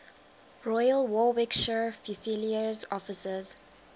royal warwickshire fusiliers officers